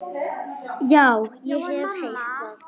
Já, ég hef heyrt það.